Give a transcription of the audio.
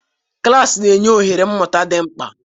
Klas na-enye oghere mmụta dị mkpa.